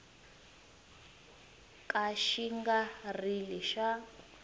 ka xi nga ri xa